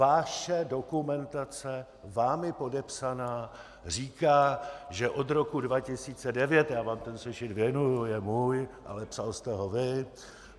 Vaše dokumentace vámi podepsaná říká, že od roku 2009 - já vám ten sešit věnuju, je můj, ale psal jste ho vy .